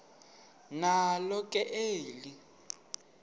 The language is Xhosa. nalo ke eli